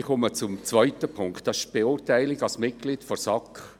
Ich komme zum zweiten Punkt, die Beurteilung als Mitglied der SAK.